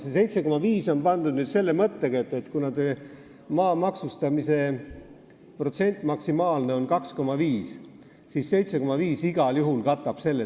See 7,5 on siia pandud selle mõttega, et kuna maa maksustamise maksimaalne protsent on 2,5, siis 7,5 igal juhul katab selle.